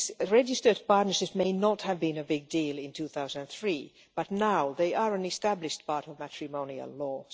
Registered partnerships may not have been a big deal in 2003, but now they are an established part of matrimonial law.